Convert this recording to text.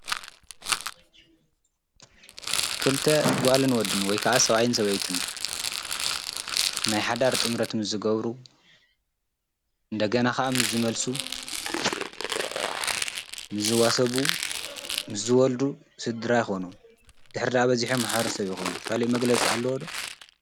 ስድራቤትን ሕብረተሰብን መሰረት ህይወት ሰብ እዮም። ስድራቤት ፍቕሪ፣ ክብርን ሓላፍነትን ዝመሃር ቀዳማይ ቦታ እያ። ሕብረተሰብ ሰባት ብሓባር ክነብሩን ክረዳዳኡን ይገብር።